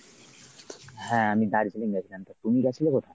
হ্যাঁ আমি দার্জিলিং গেছিলাম তা তুমি গেছিলে কোথাও?